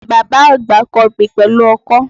Bàbá àgba ń kọbè pẹ̀lú ọkọ̀